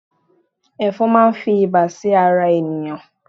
efòn ma n fi iba sí ara ènìyàn